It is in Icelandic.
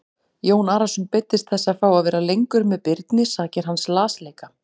Jón Arason beiddist þess að fá að vera lengur með Birni sakir hans lasleika.